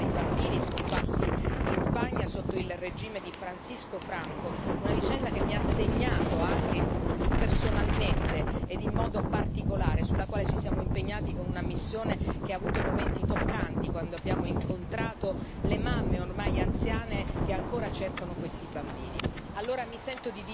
Ne cito uno per tutti il caso dei bambini scomparsi in Spagna sotto il regime di Francisco Franco, una vicenda che mi ha segnato, anche personalmente e in modo particolare, sulla quale ci siamo impegnati con una missione che ha avuto momenti toccanti, quando abbiamo incontrato le mamme ormai anziane che ancora cercano questi bambini.